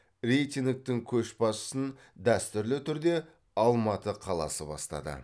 рейтингтің көшбасшысын дәстүрлі түрде алматы қаласы бастады